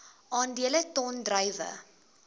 aandele ton druiwe